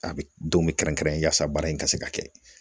A bɛ don min kɛrɛnkɛrɛn baara in ka se ka kɛ